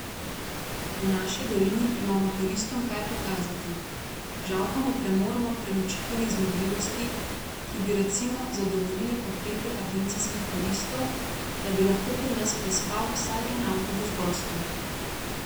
V naši dolini imamo turistom kaj pokazati, žal pa ne premoremo prenočitvenih zmogljivosti, ki bi, recimo, zadovoljile potrebe agencijskih turistov, da bi lahko pri nas prespal vsaj en avtobus gostov.